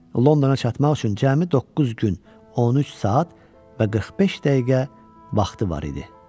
Londona çatmaq üçün cəmi doqquz gün, 13 saat və 45 dəqiqə vaxtı var idi.